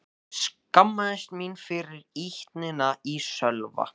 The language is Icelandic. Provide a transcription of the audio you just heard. Ég skammaðist mín fyrir ýtnina í Sölva.